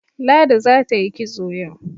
Ladi za ta yi kitso yau.